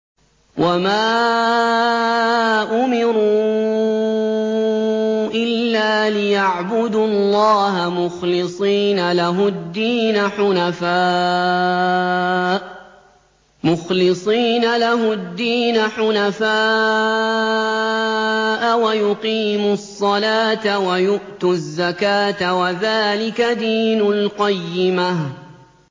وَمَا أُمِرُوا إِلَّا لِيَعْبُدُوا اللَّهَ مُخْلِصِينَ لَهُ الدِّينَ حُنَفَاءَ وَيُقِيمُوا الصَّلَاةَ وَيُؤْتُوا الزَّكَاةَ ۚ وَذَٰلِكَ دِينُ الْقَيِّمَةِ